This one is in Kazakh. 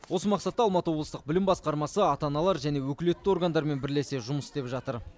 осы мақсатта алматы облыстық білім басқармасы ата аналар және өкілетті органдармен бірлесе жұмыс істеп жатыр